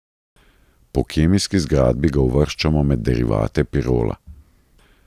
Po kemijski zgradbi ga uvrščamo med derivate pirola.